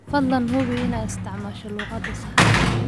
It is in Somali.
Fadlan hubi inaad isticmaasho luqadda saxda ah.